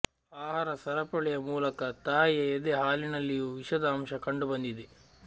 ಆಹಾರ ಸರಪಳಿಯ ಮೂಲಕ ತಾಯಿಯ ಎದೆ ಹಾಲಿನಲ್ಲಿಯೂ ವಿಷದ ಅಂಶ ಕಂಡು ಬಂದಿದೆ